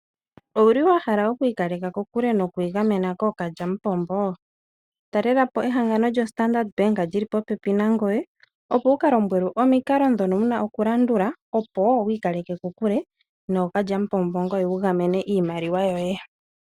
Owu li wa hala oku ikaleka kokule noku igamena kookalyamupombo? Talela po ehangano lyoStandard Bank li li popepi nangoye, opo wu ka lombwelwe omikalo ndhono dhi li popepi nangoye, opo wi ikaleke kokuke nookalyamupombo, ngoye wu gamene iimaliwa yoye.